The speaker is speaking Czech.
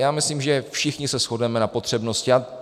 Já myslím, že všichni se shodneme na potřebnosti.